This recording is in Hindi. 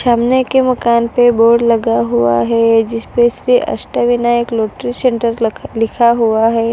सामने के मकान पे बोर्ड लगा हुआ है। जिस पे श्री अष्टविनायक लॉटरी सेंटर लिखा हुआ है।